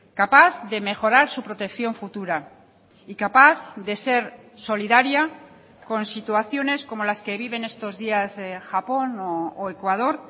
capaz de mejorar su protección futura y capaz de ser solidaria con situaciones como las que viven estos días japón o ecuador